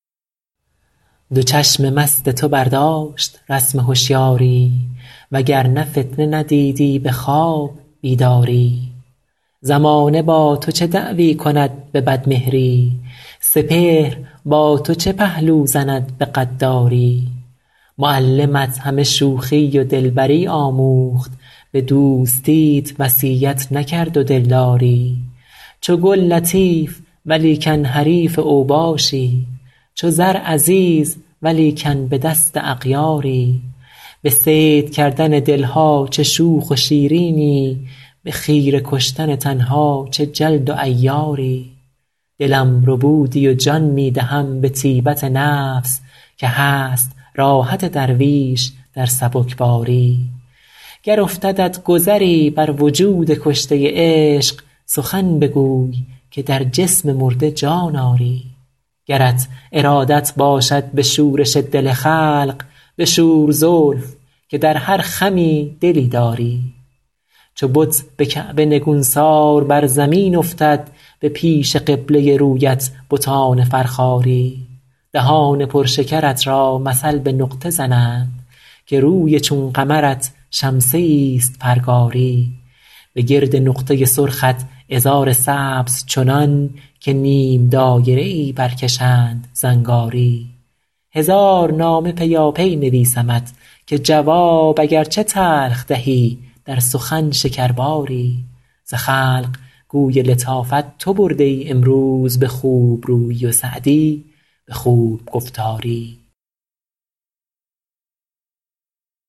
دو چشم مست تو برداشت رسم هشیاری و گر نه فتنه ندیدی به خواب بیداری زمانه با تو چه دعوی کند به بدمهری سپهر با تو چه پهلو زند به غداری معلمت همه شوخی و دلبری آموخت به دوستیت وصیت نکرد و دلداری چو گل لطیف ولیکن حریف اوباشی چو زر عزیز ولیکن به دست اغیاری به صید کردن دل ها چه شوخ و شیرینی به خیره کشتن تن ها چه جلد و عیاری دلم ربودی و جان می دهم به طیبت نفس که هست راحت درویش در سبکباری گر افتدت گذری بر وجود کشته عشق سخن بگوی که در جسم مرده جان آری گرت ارادت باشد به شورش دل خلق بشور زلف که در هر خمی دلی داری چو بت به کعبه نگونسار بر زمین افتد به پیش قبله رویت بتان فرخاری دهان پر شکرت را مثل به نقطه زنند که روی چون قمرت شمسه ایست پرگاری به گرد نقطه سرخت عذار سبز چنان که نیم دایره ای برکشند زنگاری هزار نامه پیاپی نویسمت که جواب اگر چه تلخ دهی در سخن شکرباری ز خلق گوی لطافت تو برده ای امروز به خوب رویی و سعدی به خوب گفتاری